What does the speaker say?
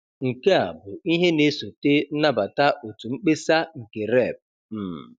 Nke a bụ ihe na-esote nnabata otu mkpesa nke Rep. um